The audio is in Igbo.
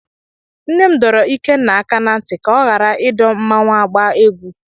Nne m dọrọ Ikenna aka ná ntị ka ọ ghara ịdọ mmanwu agba egwu.